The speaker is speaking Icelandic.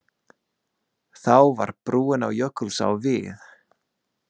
Þá var brúin á Jökulsá vígð.